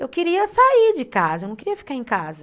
Eu queria sair de casa, eu não queria ficar em casa.